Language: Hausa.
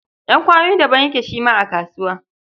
Ƴan kwanoni daban yake shi ma a kasuwa.